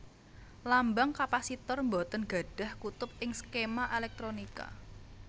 Lambang kapasitor boten gadhah kutub ing skema elektronika